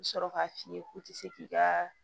I bɛ sɔrɔ k'a f'i ye k'u tɛ se k'i ka